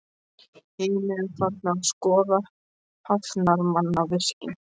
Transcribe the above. Hinir eru farnir að skoða hafnarmannvirkin.